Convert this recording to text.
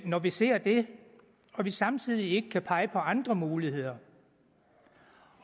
når vi ser det og vi samtidig ikke kan pege på andre muligheder